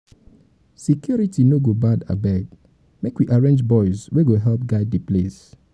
security no go bad abeg make we arrange boys wey go help guide di place.